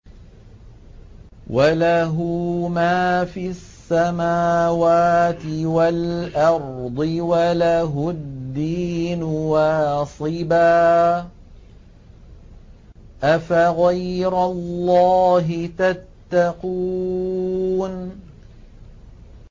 وَلَهُ مَا فِي السَّمَاوَاتِ وَالْأَرْضِ وَلَهُ الدِّينُ وَاصِبًا ۚ أَفَغَيْرَ اللَّهِ تَتَّقُونَ